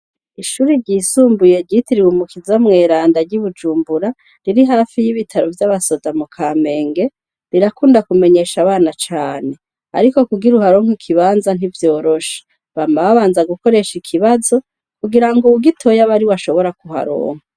Ishure ryisumbuye ryitiriwe mukiza mweranda ry'i Bujumbura riri hafi ry'ibitaro vy'abasoda mu Kamenge rirakunda kumenyesha abana cane ariko kugira uharonke ikibanza ntivyoroshe, bama babanza gukoresha ikibazo kugira ngo uwugitoye abe ariwe ashobora kuharonka.